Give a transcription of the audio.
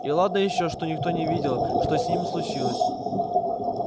и ладно ещё что никто не видел что с ними случилось